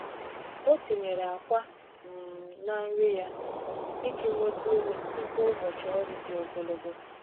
Ọ tinyere akwa um na nri ya iji nweta ume tupu ụbọchị ọrụ dị ogologo.